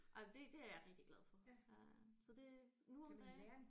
Ej men det det er jeg rigtig glad for øh så det nu om dage